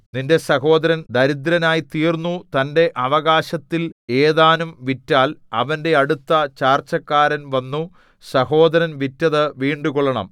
നിന്റെ സഹോദരൻ ദിരദ്രനായിത്തീർന്നു തന്റെ അവകാശത്തിൽ ഏതാനും വിറ്റാൽ അവന്റെ അടുത്ത ചാർച്ചക്കാരൻ വന്നു സഹോദരൻ വിറ്റതു വീണ്ടുകൊള്ളണം